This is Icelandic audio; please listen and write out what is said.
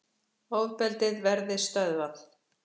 Ofbeldið verði stöðvað